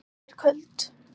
Ég er köld.